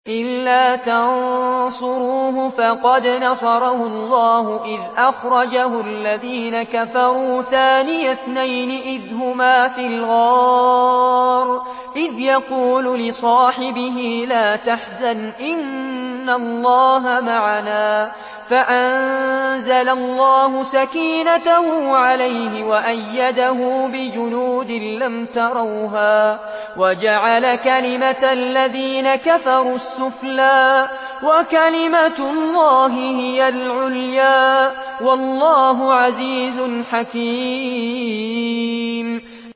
إِلَّا تَنصُرُوهُ فَقَدْ نَصَرَهُ اللَّهُ إِذْ أَخْرَجَهُ الَّذِينَ كَفَرُوا ثَانِيَ اثْنَيْنِ إِذْ هُمَا فِي الْغَارِ إِذْ يَقُولُ لِصَاحِبِهِ لَا تَحْزَنْ إِنَّ اللَّهَ مَعَنَا ۖ فَأَنزَلَ اللَّهُ سَكِينَتَهُ عَلَيْهِ وَأَيَّدَهُ بِجُنُودٍ لَّمْ تَرَوْهَا وَجَعَلَ كَلِمَةَ الَّذِينَ كَفَرُوا السُّفْلَىٰ ۗ وَكَلِمَةُ اللَّهِ هِيَ الْعُلْيَا ۗ وَاللَّهُ عَزِيزٌ حَكِيمٌ